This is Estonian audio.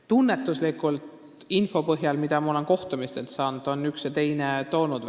Tunnetuslikult, info põhjal, mida ma olen kohtumistelt saanud, võin öelda, et üks ja teine on näiteid toonud.